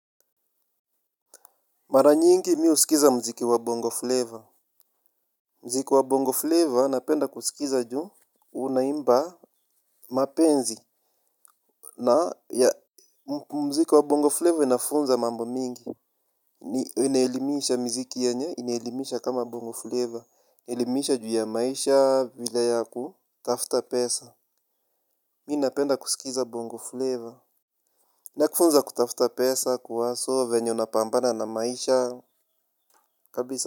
Mara nyingi mi husikiza mziki wa Bongo Flavor. Mziki wa Bongo Flavor napenda kusikiza juu unaimba mapenzi. Na ya mziki wa Bongo Flavor inafunza mambo mingi. Inaelimisha mziki yenye inaelimisha kama Bongo Flavor. Elimisha juu ya maisha vile ya kutafta pesa. Mi napenda kusikiza Bongo Flavor. Na kufunza kutafta pesa kuwaso venye unapambana na maisha kabisa.